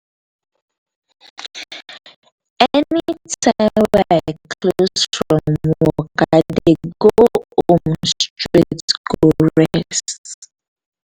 anytime wey i close from work i dey go home straight go rest.